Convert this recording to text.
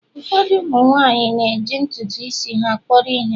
Ụfọdụ umu nwanyi na-eji ntutu isi ha kpọrọ ihe